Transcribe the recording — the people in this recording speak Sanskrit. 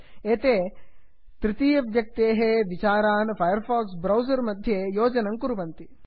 प्लगिन्स् इत्येते तृतीयव्यक्तेः विचारान् फैर् फाक्स् ब्रौसर् मध्ये योजयन्ति